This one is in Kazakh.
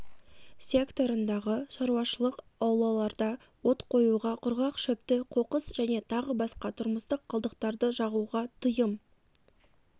секторындағы шаруашылық аулаларда от қоюға құрғақ шөпті қоқыс және тағы басқа тұрмыстық қалдықтарды жағуға тыйым